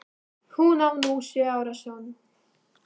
Hún á nú sjö ára son.